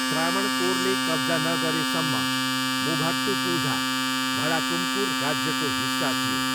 त्रावनकोरले कब्जा नगरेसम्म मुभाट्टुपुझा भडाकुमकुर राज्यको हिस्सा थियो।